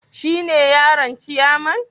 Shine yaron ciyaman?